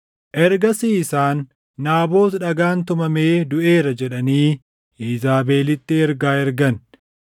Ergasii isaan, “Naabot dhagaan tumamee duʼeera” jedhanii Iizaabelitti ergaa ergan.